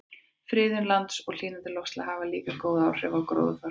Friðun lands og hlýnandi loftslag hafa líka haft góð áhrif á gróðurfar.